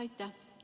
Aitäh!